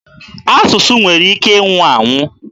Asụsụ nwere ike ịnwụ anwụ.